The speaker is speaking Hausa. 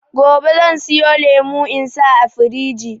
Gobe zan siyo lemo in sa a firiji